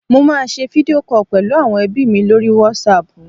mo ma n se video call pẹlu awon ebi mi lori WhatsApp